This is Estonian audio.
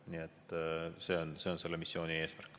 Nii et see on selle missiooni eesmärk.